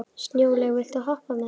Snjólaug, viltu hoppa með mér?